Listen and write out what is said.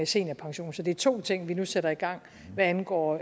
seniorpension så det er to ting vi nu sætter i gang hvad angår